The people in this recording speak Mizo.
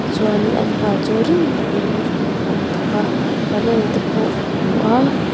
tichuan an hna chu rim takin an thawk a barrel te pawh ka hmu a--